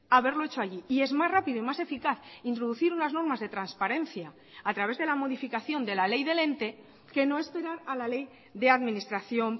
haberlo hecho allí y es más rápido y más eficaz introducir unas normas de transparencia a través de la modificación de la ley del ente que no esperar a la ley de administración